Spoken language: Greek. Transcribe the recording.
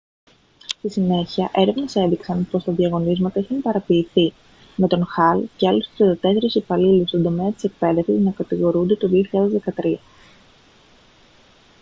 στη συνέχεια έρευνες έδειξαν πως τα διαγωνίσματα είχαν παραποιηθεί με τον hall και άλλους 34 υπαλλήλους στον τομέα της εκπαίδευσης να κατηγορούνται το 2013